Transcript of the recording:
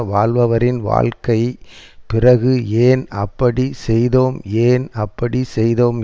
வாழ்பவரின் வாழ்க்கை பிறகு ஏன் அப்படி செய்தோம் ஏன் அப்படி செய்தோம்